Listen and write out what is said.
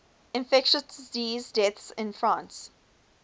infectious disease deaths in france